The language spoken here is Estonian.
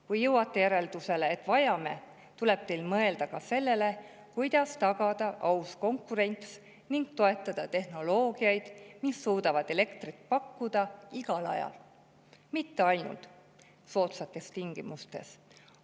Kui jõuate järeldusele, et vajame, siis tuleb teil mõelda ka sellele, kuidas tagada aus konkurents ning toetada tehnoloogiaid, mis suudavad elektrit pakkuda igal ajal, mitte ainult soodsates tingimustes.